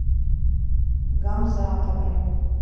гамзатовой